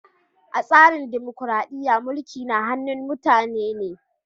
A tsarin dimokuradiyya, mulki na hannun mutane ne.